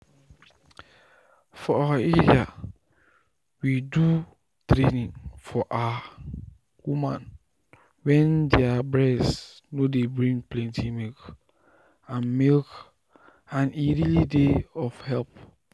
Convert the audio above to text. to sabi the wahala wen dey for woman wen milk dey comot from um e breast go save person from wahala and fear.